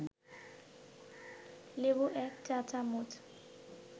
লেবু ১ চা-চামচ